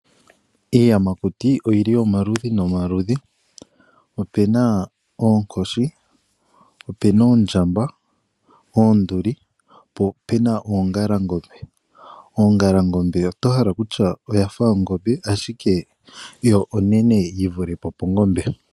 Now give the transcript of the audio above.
Iiyamakuti oyili omaludhi nomaludhi, opena oonkoshi, opena oondjamba, oonduli, po opena oongalangombe. Ongalangombe oto hala kutya oyafa ongombe, ashike yo onene yi vule po pongombe.